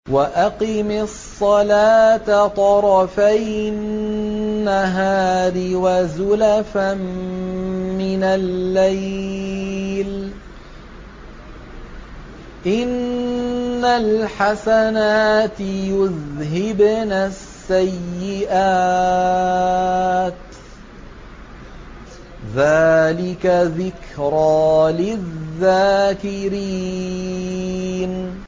وَأَقِمِ الصَّلَاةَ طَرَفَيِ النَّهَارِ وَزُلَفًا مِّنَ اللَّيْلِ ۚ إِنَّ الْحَسَنَاتِ يُذْهِبْنَ السَّيِّئَاتِ ۚ ذَٰلِكَ ذِكْرَىٰ لِلذَّاكِرِينَ